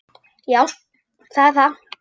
Já, það er það